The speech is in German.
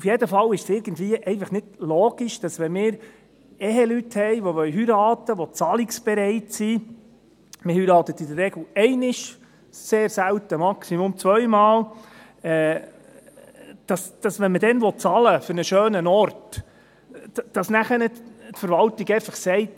Auf jeden Fall ist es einfach irgendwie nicht logisch, wenn wir Eheleute haben, die heiraten wollen, die zahlungsbereit sind – man heiratet in der Regel einmal, sehr selten maximal zweimal –, dass ihnen, wenn sie dann für einen schönen Ort bezahlen wollen, die Verwaltung einfach sagt: